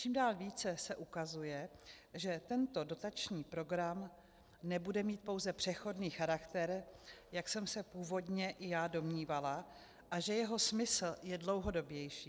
Čím dál více se ukazuje, že tento dotační program nebude mít pouze přechodný charakter, jak jsem se původně i já domnívala, a že jeho smysl je dlouhodobější.